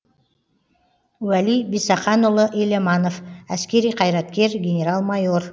уәли бисақанұлы еламанов әскери қайраткер генерал майор